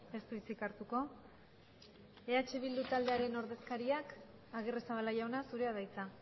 ez du hitzik hartuko eh bildu taldearen ordezkariak agirrezabala jauna zurea da hitza